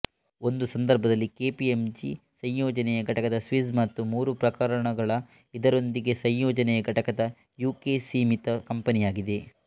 ಒಂದು ಸಂದರ್ಭದಲ್ಲಿ ಕೆಪಿಎಂಜಿ ಸಂಯೋಜನೆಯ ಘಟಕದ ಸ್ವಿಸ್ ಮತ್ತು ಮೂರು ಪ್ರಕರಣಗಳು ಇದರೊಂದಿಗೆ ಸಂಯೋಜನೆಯ ಘಟಕದ ಯುಕೆ ಸೀಮಿತ ಕಂಪನಿಯಾಗಿದೆ